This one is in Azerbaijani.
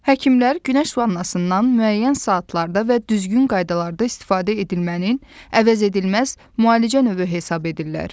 Həkimlər günəş vannasından müəyyən saatlarda və düzgün qaydalarda istifadə edilmənin əvəzedilməz müalicə növü hesab edirlər.